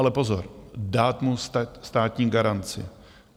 Ale pozor, dát mu státní garanci.